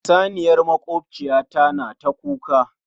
Saniyar makwabciyata na ta kuka.